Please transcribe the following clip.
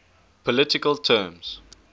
political terms